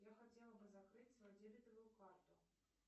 я хотела бы закрыть свою дебетовую карту